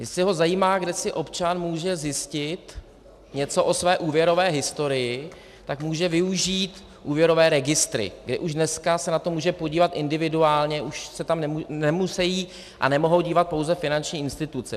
Jestli ho zajímá, kde si občan může zjistit něco o své úvěrové historii, tak může využít úvěrové registry, kde už dneska se na to může podívat individuálně, už se tam nemusejí a nemohou dívat pouze finanční instituce.